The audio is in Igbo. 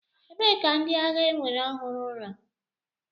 Ebee ka ndị agha ewere ọhụrụ nọ?